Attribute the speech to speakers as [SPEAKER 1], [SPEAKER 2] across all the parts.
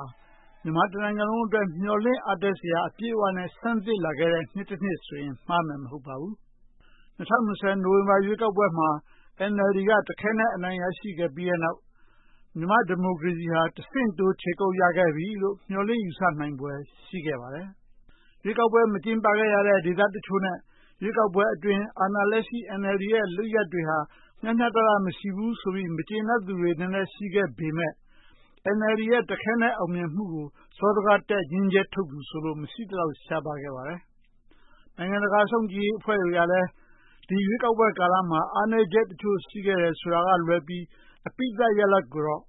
[SPEAKER 1] ာ မြန်မာတနိုင်ငံလုံးအတွက် မျှော်လင့်ချက်အားတက်စရာ အပြည့်အဝနဲ့ ဆန်းသစ်လာခဲ့တဲ့ နှစ်ဆိုရင် မှားမယ်မဟုတ်ပါဘူး။ ၂၀၂၀ နိုဝင်ဘာရွေးကောက်ပွဲမှာ NLD က တခဲနက်အနိုင်ရရှိခဲ့ပြီးတဲ့နောက် မြန်မာ့ဒီမိုကေရစီဟာ တဆင့်တိုး ခြေကုတ်ရခဲ့ပြီလို့ မျှော်လင့်ယူဆနိုင်ဖွယ် ရှိခဲ့ပါတယ်။ ရွေးကောက်ပွဲ မကျင်းပခဲ့ရတဲ့ ဒေသတချို့နဲ့ ရွေးကောက်ပွဲအတွင်း အာဏာလက်ရှိ NLD ရဲ့ လုပ်ရပ်တွေဟာ မျှှမျှတတ မရှိဘူးဆိုပြီး၊ မကျေနပ်ဖြစ်နေသူတွေ နည်းနည်းရှိခဲ့ပေမဲ့ NLD ရဲ့တခဲနက်အောင်မြင်မှုကို စောဒတက် ငြင်းချက်ထုတ်သူဆိုလို မရှိသလောက်ရှားပါးခဲ့ပါတယ်။ နိုင်ငံတကာ စောင့်ကြည့်ရေးအဖွဲ့တွေကလည်း ဒီရွေးကောက်ကာလမှာ အားနည်းချက် တချို့ရှိခဲ့တယ်ဆိုတာကလွဲပြီး အပြီးသတ် 'ရလဒ်' ကိုတော့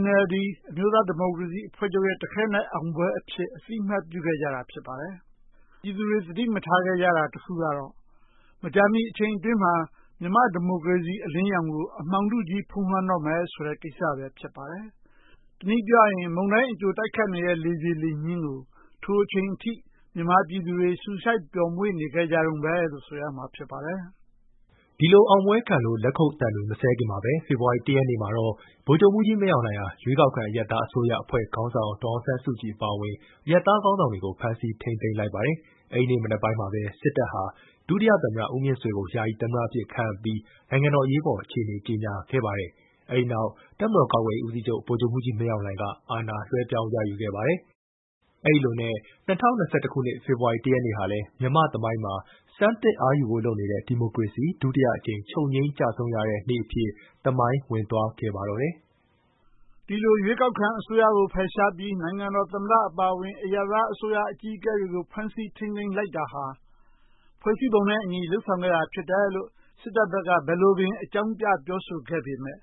[SPEAKER 1] NLD အမျိုးသားဒီမိုကရေစီအဖွဲ့ရဲ့တခဲနက် အောင်ပွဲအဖြစ် အသိအမှတ်ပြုခဲ့ကြပါတယ်။ ပြည်သူတွေ သတိမထားမိခဲ့ကြတာကတော့ မကြာမီအချိန်အတွင်းမှာ မြန်မာ့ဒီမိုကရေစီ အလင်းရောင်ကို အမှောင်ထုကြီး ဖုံးလွှမ်းတော့မယ်ဆိုတဲ့ ကိစ္စပဲ ဖြစ်ပါတယ်။ တနည်းပြောရရင် မုန်တိုင်းအကြိုတိုက်ခိုက်နေတဲ့ လေပြေလေညှင်းကို ထိုအချိန်အထိ မြန်မာပြည်သူတွေ ရှူရှိုက်ပျော်မွှေ့နေခဲ့ကြတုန်းပဲလို့ ဆိုရမှာ ဖြစ်ပါတယ်။
[SPEAKER 2] အာဏာသိမ်းပွဲ ဒီလို အောင်ပွဲခံနေလို့ လက်ခုပ်သံတွေ မစဲခင်မှာပဲ ဖေဖေါ်ဝါရီ (၁) ရက်နေ့မှာတော့ ဗိုလ်ချုပ်မှူးကြီးမင်းအောင်လှိုင်ဟာ ရွေးကောက်ခံအရပ်သားအစိုးရ အဖွဲ့ခေါင်းဆောင် ဒေါ်အောင်ဆန်းစုကြည် အပါအဝင် အရပ်သားခေါင်းဆောင်တွေကို ဖမ်းဆီးထိန်းသိမ်းလိုက်ပါတယ်။ အဲဒီနေ့မနက်ပိုင်းမှာပဲ စစ်တပ်ဟာ ဒုတိယသမ္မတဦးမြင့်ဆွေကို ယာယီသမ္မတ အဖြစ်ခန့်အပ်ပြီး၊ နိုင်ငံတော် အရေးပေါ်အခြေအနေကို ကျေညာပါတယ်။ အဲဒီနောက် တပ်မတော်ကာကွယ်ရေးဦးစီးချုပ် ဗိုလ်ချုပ်မှူးကြီးမင်းအောင်လှိုင်က အာဏာလွှဲပြောင်း ရယူခဲ့ပါတယ်။ အဲဒီလိုနဲ့ ၂၀၂၁ ဖေဖော်ဝါရီ (၁) ရက်နေ့ဟာလဲ မြန်မာ့သမိုင်းမှာ ဆန်းသစ်အားယူဖို့ လုပ်နေတဲ့ ဒီမိုကရေစီ ဒုတိယအကြိမ် ချုပ်ငြိမ်းကျဆုံးရတဲ့ နေ့အဖြစ် သမိုင်းဝင်သွားခဲ့ပါတော့တယ်။ ဒီလို ရွေးကောက်ခံအစိုးရကို ဖယ်ရှားပ
[SPEAKER 1] ြီး နိုင်ငံတော်သမ္မတ အပါအဝင် အရပ်သားအစိုးရအကြီးအကဲတွေကို ဖမ်းဆီးထိန်းသိမ်းလိုက်တာဟာ ဖွဲ့စည်းပုံဥပဒေနဲ့အညီ လုပ်ဆောင်ခဲ့တာဖြစ်တယ်လို့ စစ်တပ်ဘက်က ဘယ်လိုပင်အကြောင်းပြ ပြောဆိုခဲ့ပေမဲ့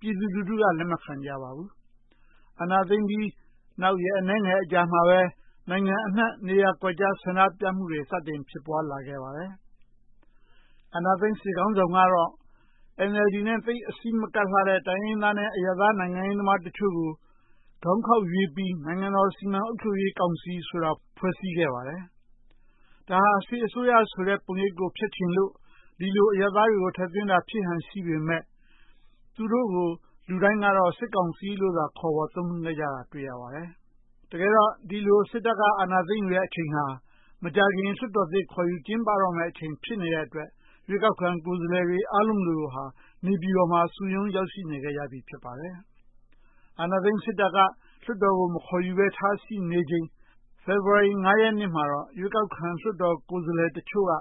[SPEAKER 1] ပြည်သူလူထုက လက်မခံကြပါဘူး။ အာဏာသိမ်းပြီး နောက်ရက်အနည်းငယ်အကြာမှာပဲ နိုင်ငံတဝှမ်း နေရာကွက်ကျား ဆန္ဒပြမှုတွေ စတင်ဖြစ်ပွားလာခဲ့ပါတယ်။ အာဏာသိမ်းစစ်ခေါင်းဆောင်ကတော့ NLD နဲ့ သိပ်အစည်းမကပ်လှတဲ့ တိုင်းရင်းသားနဲ့ အရပ်သားနိုင်ငံရေးသမားတချို့ကို ခေါင်းခေါက်ရွေးပြီး၊ နိုင်ငံတော်စီမံ အုပ်ချပ်ရေးကောင်စီ ဆိုတာကို ဖွဲ့စည်းခဲ့ပါတယ်။ ဒါဟာစစ်အစိုးရဆိုတဲ့ ပုံရိပ်ကိုဖျက်ချင်လို့ ဒီလို အရပ်သားတွေကို ထည့်သွင်းတာ ဖြစ်ဟန်ရှိပေမဲ့ သူတို့ကို လူတိုင်းက 'စစ်ကောင်စီ' လို့သာ ခေါ်ဝေါ် သုံးနှုန်းခဲ့ကြတာ တွေ့ရပါတယ်။ CRPH ဖွဲ့စည်းခြင်း တကယ်တော့ ဒီလို စစ်တပ်က အာဏာသိမ်းယူတဲ့ အချိန်ဟာ မကြာခင် လွှတ်တော်သစ် ခေါ်ယူကျင်းပတော့မယ့် အချိန်ဖြစ်နေတဲ့အတွက် ရွေးကောက်ခံ ကိုယ်စားလှယ်တွေ အားလုံးလိုလိုဟာ နေပြည်တော်မှာ စုရုံးရောက်ရှိနေခဲ့ကြပြီ ဖြစ်ပါတယ်။ အာဏာသိမ်းစစ်တပ်က လွှတ်တော်ကို မခေါ်ယူပဲထားရှိနေချိန်၊ ဖေဖေါ်ဝါရီ (၅) ရက်နေ့မှာ ရွေးကောက်ခံ လွှတ်တော်ကိုယ်စားလှယ်တချို့က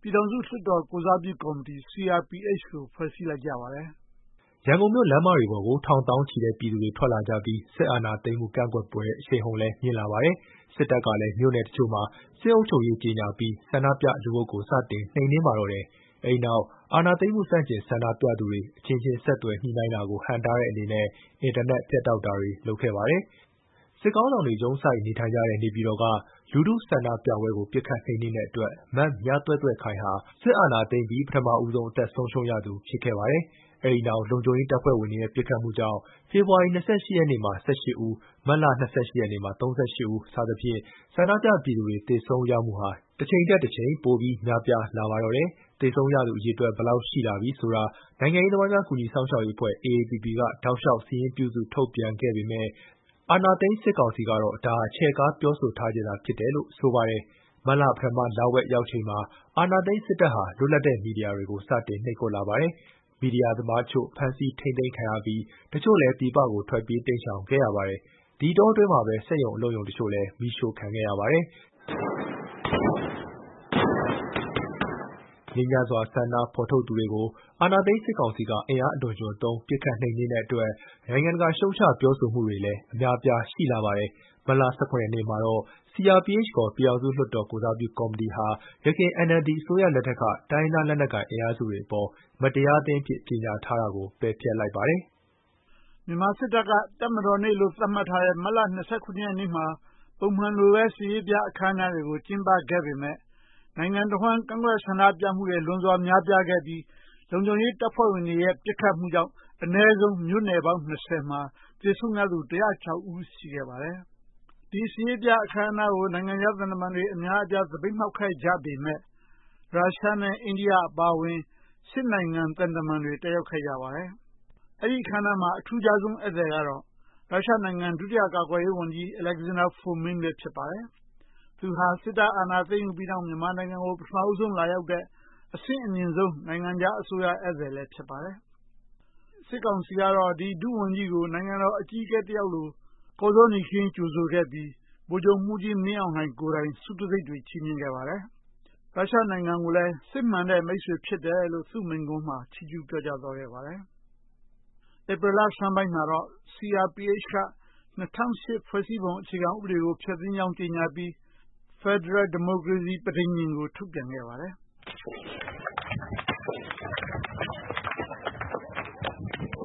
[SPEAKER 1] ပြည်ထောင်စုလွှတ်တော် ကိုယ်စားပြုကော်မီတီ (CRPH - Committee Representing Pyidaungsu Hluttaw) ကို ဖွဲ့စည်းလိုက်ကြပါတယ်
[SPEAKER 2] ။ အကြမ်းဖက် နှိမ်နင်းမှု ရန်ကုန်မြို့လမ်းမတွေပေါ်ကို ထောင်သောင်းချီတဲ့ ပြည်သူတွေ ထွက်လာကြပြီး၊ စစ်အာဏာသိမ်းမှု ကန့်ကွက်ဆန္ဒပြမှုတွေ အရှိန်အဟုန် မြင့်လာခဲ့ကြပါတယ်။ စစ်တပ်ကလဲ မြိုနယ်တချို့မှာ စစ်အုပ်ချုပ်ရေး ကျေညာပြီး၊ ဆန္ဒပြလူအုပ်ကို စတင်နှိမ်နင်းပါတော့တယ်။ အဲဒီနောက် အာဏာသိမ်းမှု ဆန့်ကျင်ဆန္ဒပြသူတွေ၊ အချင်းချင်းဆက်သွယ်ညှိနှိင်းတာကို ဟန့်တားတဲ့အနေနဲ့ အင်တာနက် ဖြတ်တောက်တာတွေ လုပ်ခဲ့ပါတယ်။ စစ်ခေါင်းဆောင်တွေ ရုံးစိုက်နေထိုင်တဲ့ နေပြည်တော်က လူထုဆန္ဒပြပွဲကို ပစ်ခတ်နှိမ်နင်းတဲ့အတွက် မမြသွဲ့သွဲ့ခိုင်ဟာ စစ်အာဏာသိမ်းပြီး၊ ပထမဦးဆုံး အသက်ဆုံးရှုံးရသူ ဖြစ်ခဲ့ပါတယ်။ အဲဒီနောက် လုံခြုံရေးတပ်ဖွဲ့ဝင်တွေရဲ့ပစ်ခတ်မှုကြောင့် ဖေဖေါ်ဝါရီ (၂၈) ရက်နေ့မှာ (၁၈) ဦး၊ မတ်လ (၂၈) ရက်နေ့မှာ (၃၈) ဦး စသဖြင့် ဆန္ဒပြပြည်သူတွေ သေဆုံးရမှုဟာ တချိန်ထက်တချိန် ပိုပြီးများပြားလာခဲ့ပါတော့တယ်။ သေဆုံးရသူ အရေအတွက် ဘယ်လောက်ရှိလာပြီဆိုတာ နိုင်ငံရေးသမားများ ကူညီစောင့်ရှောက်ရေးအဖွဲ့ (AAPP) က တောက်ရှောက် စာရင်းပြုစု ထုတ်ပြန်ပေမဲ့ အာဏာသိမ်းစစ်ကောင်စီကတော့ ဒါဟာချဲ့ကားပြောဆိုထားခြင်းသာ ဖြစ်တယ်လို့ ဆိုပါတယ်။ မတ်လ ပထမလဝက် ရောက်လာချိန်မှာ အာဏာသိမ်းစစ်တပ်ဟာ လွတ်လပ်တဲ့ မီဒီယာတွေကို နှိပ်ကွပ်လာပါတယ်။ မီဒီယာသမားတချို့ ဖမ်းဆီးထိန်းသိမ်းခံရပြီး၊ တချို့လဲ ပြည်ပကို ထွက်ပြေးတိမ်းရှောင်ခဲ့ကြပါတယ်။ အဲဒီအတောအတွင်းမှာပဲ စက်ရုံအလုပ်ရုံတချို့လည်း မီးရှို့ခံခဲ့ရပါတယ်။ ငြိမ်းချမ်းစွာ ဆန္ဒဖော်ထုတ်သူတွေကို အာဏာသိမ်းစစ်ကောင်စီက အင်အားအလွန်အကျွံသုံး ပစ်ခတ်နှိမ်နင်းတဲ့အတွက် နိုင်ငံတကာက ရှုတ်ချပြောဆိုမှုတွေလည်း အများအပြား ရှိလာခဲ့ပါတယ်။ မတ်လ (၁၇) ရက်နေ့မှာတော့ CRPH (ခေါ်) ပြည်ထောင်စုလွှတ်တော် ကိုယ်စားပြုကော်မီတီဟာ ယခင် NLD အစိုးရလက်ထက်က တိုင်းရင်းသားလက်နက်ကိုင် အင်အားစုတွေအပေါ် မတရားသင်းအဖြစ် ကျေညာထားတာကို ပယ်ဖျက်လိုက်ပါတယ်
[SPEAKER 1] ။ သွေးစွန်းတဲ့ တပ်မတော်နေ့ မြန်မာစစ်တပ်က တပ်မတော်နေ့လို့ သတ်မှတ်ထားတဲ့ မတ်လ (၂၇) ရက်နေ့မှာ ပုံမှန်လိုပဲ စစ်ရေးပြ အခမ်းအနားတွေကို ကျင်းပခဲ့ပေမဲ့ နိုင်ငံတဝှမ်း ကန့်ကွက်ဆန္ဒပြမှုတွေ လွန်စွာများမြာပြားခဲ့ပြီး၊ လုံခြုံရေးတပ်ဖွဲ့ဝင်တွေရဲ့ ပစ်ခတ်မှုကြောင့် အနည်းဆုံးမြို့နယ်ပေါင်း (၂၀) မှာ သေဆုံးရသူ (၁၀၆) ဦး ရှိခဲ့ပါတယ်။ ဒီစစ်ရေးပြအခမ်းအနားကို နိုင်ငံခြားသံတမန်တွေ အများအပြား သပိတ်မှောက်ခဲ့ကြပေမဲ့၊ ရုရှား နဲ့ အိန္ဒိယ အပါအဝင် (၈) နိုင်ငံသံတမန်တွေ တက်ရောက်ခဲ့ကြပါတယ်။ အဲဒီအခမ်းအနားမှာ အထူးခြားဆုံး ဧည့်သည်ကတော့ ရုရှားနိုင်ငံ ဒုတိယကာကွယ်ရေးဝန်ကြီး Aleksandr Fomin ပဲ ဖြစ်ပါတယ်။ သူဟာ စစ်တပ်အာဏာသိမ်းယူပြီးနောက် မြန်မာနိုင်ငံကို ပထမဦးဆုံး လာရောက်တဲ့ အဆင့်အမြင့်ဆုံး နိုင်ငံခြားအစိုးရ ဧည့်သည်လည်း ဖြစ်ပါတယ်။ စစ်ကောင်စီကတော့ ဒီ ဒုဝန်ကြီးကို နိုင်ငံတော် အကြီးအကဲတယောက်လို ကော်ဇောနီခင်း ကြိုဆိုခဲ့ပြီး၊ ဗိုလ်ချုပ်မှူးကြီးမင်းအောင်လှိုင်ကိုယ်တိုင် ဆုတံဆိပ်တွေ ချီးမြှင့်ခဲ့ပါတယ်။ ရုရှားနိုင်ငံကိုလည်း စစ်မှန်တဲ့ မိတ်ဆွေစစ် ဖြစ်တယ်လို့ သူမိန့်ခွန်းမှာ ချီးကျူးပြောကြားသွားပါတယ်။ ဧပြီလဆန်းပိုင်းမှာတော့ CRPH က ၂၀၀၈ ဖွဲ့စည်းပုံအခြေခံဥပဒေကို ဖျက်သိမ်းကြောင်း ကျေညာပြီး၊ Federal Democracy Charter (ခေါ်) ဖယ်ဒရယ်ပြည်ထောင်စု ဒီမိုကရေစီ ပဋိဉာဉ် ကို ထုတ်ပြန်ခဲ့ပါတယ်။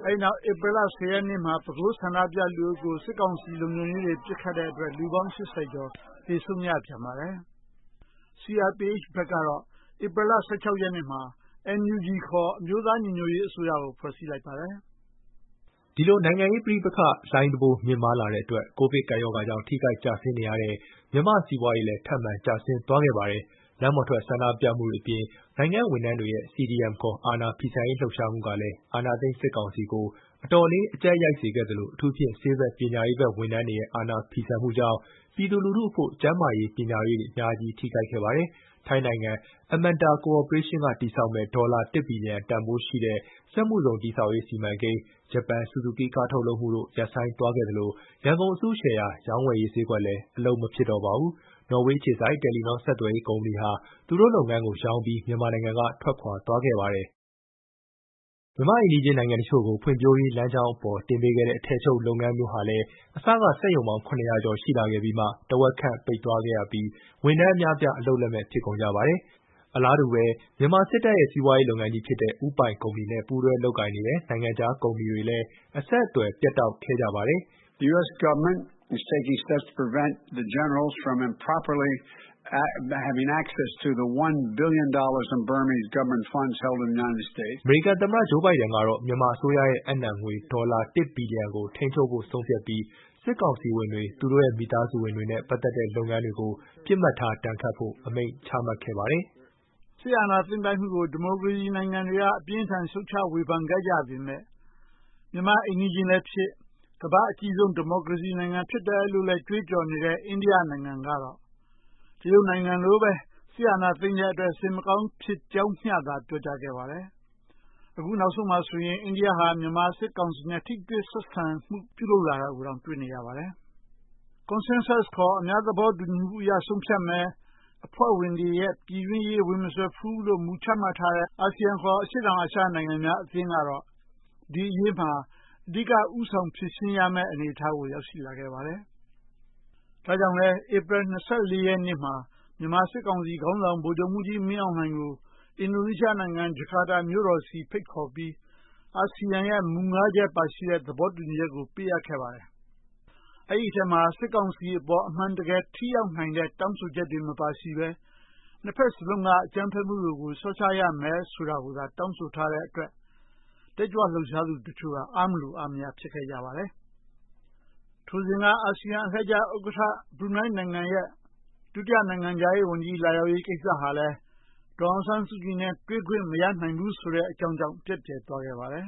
[SPEAKER 1] အဲဒီနောက် ဧပြီ (၁၀) ရက်နေ့မှာ ပဲခူးမြို့ ဆန္ဒပြလူအုပ်ကို စစ်ကောင်စီလုံခြုံရေးတပ်တွေ ပစ်ခတ်လို့ လူပေါင်း (၈၀) ကျော် သေဆုံးရပြန်ပါတယ်။ CRPံ ဘက်ကတော့ ဧပြီ (၁၆) ရက်နေ့မှာ NUG (National Unity Government) (ခေါ်) အမျိုးသားညီညွတ်ရေးအစိုးရကို ဖွဲ့စည်းလိုက်ပါတယ်။ စီးပွားရေးထိခိုက်မှု
[SPEAKER 2] ဒီလို နိုင်ငံရေးပဋိပက္ခ လှိုင်းတံဘိုး မြင့်မားလာတဲ့အတွက် COVID ကပ်ရောဂါကြောင့် ထိခိုက်ကျဆင်းနေရတဲ့ မြန်မာနိုင်ငံရေး စီးပွားရေး ထပ်မံကျဆင်းသွားခဲ့ပါတယ်။ လမ်းပေါ်ထွက် ဆန္ဒပြမှုတွေအပြင်၊ နိုင်ငံ့ဝန်ထမ်းတွေရဲ့ CDM (ခေါ်) အာဏာဖီဆန်ရေးလှုပ်ရှားမှုဟာလဲ အာဏာသိမ်းစစ်ကောင်စီကို အတော်လေးအကျပ်ရိုက်စေခဲ့သလို၊ အထူးသဖြင့် ဆေးဘက်၊ ပညာရေးဘက် ဝန်ထမ်းတွေရဲ့ အာဏာဖီဆန်မှုကြောင့် ပြည်သူလူထုအဖို့ ကျန်းမာရေး၊ ပညာရေးတွေ အများကြီးထိခိုက်ခဲ့ပါတယ်။ ထိုင်းနိုင်ငံ Amata Corporation က တည်ဆောက်မယ့် ဒေါ်လာ (၁) ဘီလီယံ တန်ဖိုးရှိတဲ့ စက်မှုဇုန် တည်ဆောက်ရေးစီမံကိန်း၊ ဂျပန် 'ဆူဇူကီးကား' ထုတ်လုပ်မှုတို့ ရပ်ဆိုင်းသွားခဲ့သလို၊ ရန်ကုန်အစုရှယ်ယာ ရောင်းဝယ်ရေးဈေးကွက်လည်း အလုပ် မဖြစ်တော့ပါဘူး။ နော်ဝေးအခြေစိုက် 'တယ်လီနော' ဆက်သွယ်ရေးကုမ္ပဏီဟာ သူတို့လုပ်ငန်းကို ရောင်းပြီး၊ မြန်မာနိုင်ငံကထွက်သွားခဲ့ပါတယ်။ မြန်မာအိမ်နီးချင်း နိုင်ငံတချို့ကို ဖွံ့ဖြိုးရေးလမ်းကြောင်းပေါ် တင်ပေးခဲ့တဲ့၊ အထည်ချုပ်လုပ်ငန်းဟာမျိုးဟာလည်း အစက စက်ရုံပေါင်း (၇၀၀) ကျော်ရှိလာခဲ့ပြီးမှ၊ တဝက်ခန့် ပိတ်သွားပြီး ဝန်ထမ်းအများအပြား အလုပ်လက်မဲ့ ဖြစ်ကုန်ကြပါတယ်။ အလားတူစွာပဲ မြန်မာစစ်တပ်ရဲ့ စီးပွားရေးလုပ်ငန်းကြီးဖြစ်တဲ့ ဦးပိုင်ကုမ္ပဏီနဲ့ ပူးတွဲလုပ်ကိုင်နေတဲ့ နိုင်ငံခြားကုမ္ပဏီတွေလည်း အဆက်အသွယ် ပြတ်တောက်ခဲ့ကြပါတယ်။ အမေရိကန်သမ္မတ Joe Bieden ကတော့ မြန်မာအစိုးရရဲ့အပ်နှံငွေ ဒေါ်လာ (၁) ဘီလီယံကို ထိန်းချုပ်ဖို့ ဆုံးဖြတ်ပြီး စစ်ကောင်စီဝင်တွေ၊ သူတို့ရဲ့မိသားစုဝင်တွေ ပတ်သက်တဲ့ လုပ်ငန်းတွေကို ပစ်မှတ်ထားဒဏ်ခတ်ဖို့ အမိန့်ချမှတ်ခဲ့ပါတယ်
[SPEAKER 1] ။ နိုင်ငံတကာ ရပ်တည်ချက်များ စစ်အာဏာသိမ်းပိုက်မှုကို ဒီမိုကရေစီနိုင်ငံတွေက အပြင်းအထန် ရှုတ်ချဝေဖန်ခဲ့ကြပေမဲ့၊ မြန်မာ့အိမ်နီးချင်းလည်းဖြစ် ကမ္ဘာ့အကြီးမားဆုံး ဒီမိုကရေစီနိုင်ငံ ဖြစ်တယ်လို့လဲ ကြွေးကြော်နေတဲ့ အိန္ဒိယနိုင်ငံကတော့၊ တရုတ်နိုင်ငံလိုပဲ စစ်အာဏာသိမ်းတဲ့အတွက် စိတ်မကောင်းကြောင်းမျှသာ ပြောကြားခဲ့ပါတယ်၊ အခုနောက်ဆုံးမှာဆိုရင် အိန္ဒိယဟာ မြန်မာစစ်ကောင်စီနဲ့ ထိတွေ့ဆက်ဆံမှု လုပ်နေတာတွေကိုပါ တွေ့နေရပါတယ်။ Consensus (ခေါ်) အများသဘောတူညီမှုအရ ဆုံးဖြတ်မယ်၊ အဖွဲ့ဝင်တွေရဲ့ ပြည်တွင်းရေးကို ဝင်မစွက်ဘူးလို့ မူချမှတ်ထားတဲ့ ASEAN (ခေါ်) အရှေ့တောင်အာရှများအသင်းကတော့ ဒီအရေးမှာ အဓိက ဦးဆောင်ဖြေရှင်းပေးရမယ့် အနေအထားကို ရောက်လာခဲ့ပါတယ်။ ဒါကြောင့်လဲ ဧပြီ (၂၄) နေ့မှာ မြန်မာစစ်ကောင်စီ ခေါင်းဆောင် ဗိုလ်ချုပ်မှူးကြီးမင်းအောင်လှိုင်ကို အင်ဒိုနီးရှားနိုင်ငံ ဂျကာတာမြို့တော်ဆီ ဖိတ်ခေါ်ပြီး၊ အာဆီယံရဲ့ မူ (၅) ချက် ပါရှိတဲ့ သဘောတူညီချက်ကို ပေးအပ်ခဲ့ပါတယ်။ အဲဒီအထဲမှာ စစ်ကောင်စီအပေါ် အမှန်တကယ် ထိရောက်နိုင်တဲ့ တောင်းဆိုချက်တွေမပါရှိဘဲ နှစ်ဘက်စလုံးက အကြမ်းဖက်မှုတွေကို လျှော့ချရမယ်ဆိုတာကိုသာ တောင်းဆိုထားတဲ့အတွက် တက်ကြွလှုပ်ရှားသူတချို့က အားမလိုအားမရ ဖြစ်ခဲ့ကြပါတယ်။ ထိုစဉ်က အာဆီယံအလှည့်ကျ ဥက္ကဋ္ဌ ဘရူနိုင်းနိုင်ငံရဲ့ နိုင်ငံခြားရေး ဒုဝန်ကြီး လာရောက်ရေးကိစ္စဟာလဲ၊ ဒေါ်အောင်ဆန်းစုကြည်နဲ့ တွေ့ခွင့်မရနိုင်ဘူးဆိုတဲ့ အကြောင်းကြောင့် ပျက်ပြယ်သွားခဲ့ပါတယ်